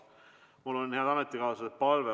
Mul on, head ametikaaslased, palve.